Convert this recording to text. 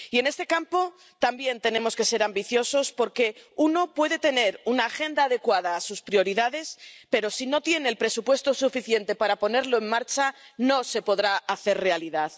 Y en este campo también tenemos que ser ambiciosos, porque uno puede tener una agenda adecuada a sus prioridades, pero si no tiene el presupuesto suficiente para ponerla en marcha, no se podrá hacer realidad.